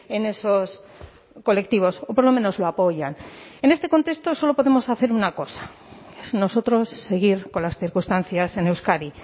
en esos colectivos o por lo menos lo apoyan en este contexto solo podemos hacer una cosa es nosotros seguir con las circunstancias en euskadi